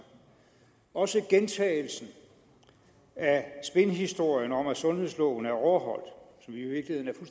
også gentagelsen af spinhistorien om at sundhedsloven er overholdt